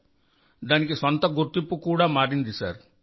ఇది దాని స్వంత గుర్తింపుగా కూడా మారింది సార్